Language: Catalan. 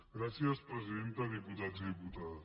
gràcies presidenta diputats i diputades